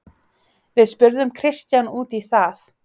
Við spurðum Kristján út í það.